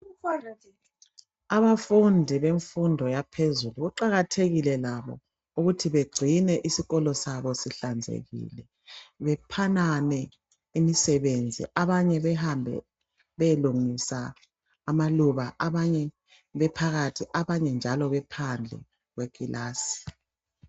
Abafundi bemfundo yaphezulu, kuqakathekile labo ukuthi begcine iskolo sabo sihlanzekile, bephanane imisebenzi abanye behambe beyelungisa amaluba, abanye bephakathi, abanye njalo bephandle kwekilasi.